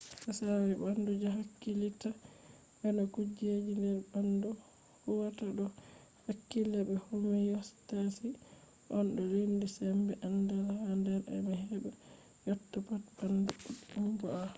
tsari ɓandu je hakkilitta be no kujeji nder ɓandu huwata do hakkila be homiyostasis on to lendi sembe andal ha nder e’am heɓa yotta pat ɓandu ɓoɗɗum bo he’a